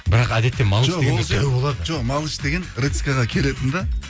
бірақ әдетте малыш жоқ малыш деген келетін де